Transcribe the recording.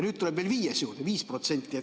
Nüüd tuleb veel viies juurde, 5%.